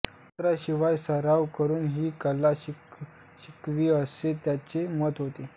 तंत्राशिवाय सराव करून ही कला शिकावी असे त्यांचे मत होते